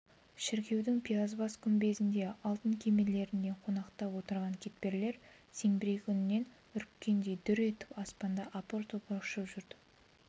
шіркеудің пиязбас күмбездеріне алтын кемерлеріне қонақтап отырған кептерлер зеңбірек үнінен үріккендей дүр көтеріліп аспанда апыр-топыр ұшып жүрді